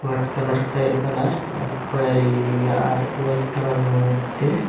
white colour খয়রী colour অনেক খয়েরী আর হোয়াইট কালারের মইধ্যে --